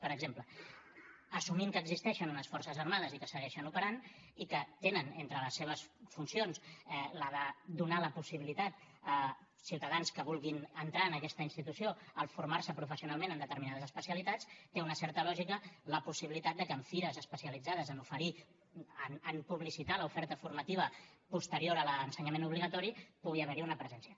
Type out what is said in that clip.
per exemple assumint que existeixen unes forces armades i que segueixen operant i que tenen entre les seves funcions la de donar la possibilitat a ciutadans que vulguin entrar en aquesta institució de formar se professionalment en determinades especialitats té una certa lògica la possibilitat que en fires especialitzades a oferir a publicitar l’oferta formativa posterior a l’ensenyament obligatori pugui haver n’hi una presència